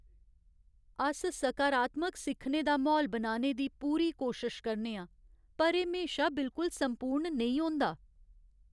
अस सकारात्मक सिक्खने दा म्हौल बनाने दी पूरी कोशश करने आं, पर एह् म्हेशा बिल्कुल संपूर्ण नेईं होंदा।